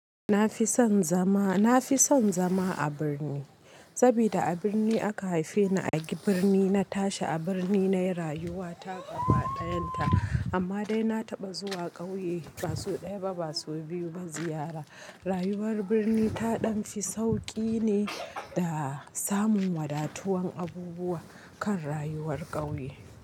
Na fi son zama, na fi son zama a birni. Saboda a birni aka haife ni, a birni na tashi a birni na yi rayuwa ta gaba ɗayan ta. Amma dai na taɓa zuwa ƙauye ba sau ɗaya ba ba sau biyu ba ziyara. Rayuwar birni ta ɗan fi sauƙi ne da samun wadatuwan abubuwa kan rayuwar ƙauye.